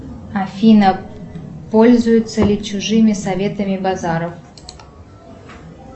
афина пользуется ли чужими советами базаров